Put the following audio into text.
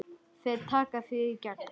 Þeir taka þig í gegn!